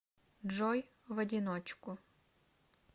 джой в одиночку